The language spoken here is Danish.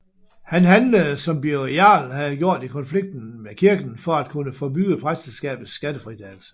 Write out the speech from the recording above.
Han handlede som Birger Jarl havde gjort i konflikten med kirken for at kunne forbyde præsteskabets skattefritagelse